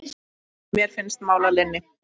Mér finnst mál að linni.